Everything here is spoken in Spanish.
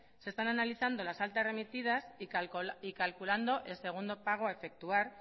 se están analizando las altas remitidas y calculando el segundo pago a efectuar